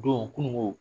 Don kununko